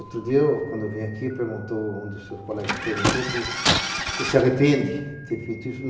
Outro dia, quando eu vim aqui, um dos seus colegas me perguntou se arrependo de ter feito isso.